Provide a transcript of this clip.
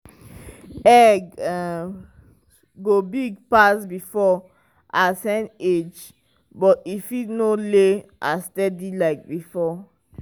egg go big pass before as hen age but e fit no lay as steady like before.